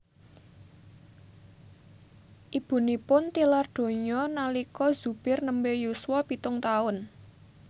Ibunipun tilar donya nalika Zubir nembe yuswa pitung taun